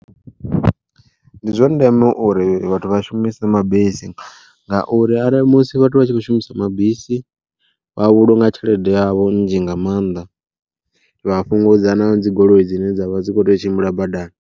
Ndi zwa ndeme uri vhathu vha shumise mabisi, ngauri arali musi vhathu vha tshi khou shumisa mabisi vha vhulunga tshelede yavho nzhi nga maanḓa. Vha fhungudza na dzi goloi dzine dzavha dzi kho teyo tshimbila badani.